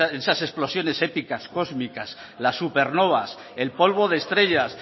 esas explosiones épicas cósmicas las supernovas el polvo de estrellas